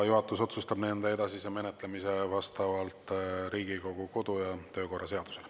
Juhatus otsustab nende edasise menetlemise vastavalt Riigikogu kodu- ja töökorra seadusele.